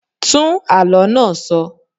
Tún àló náà sọ.